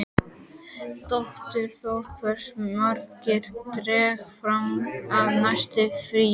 Dagþór, hversu margir dagar fram að næsta fríi?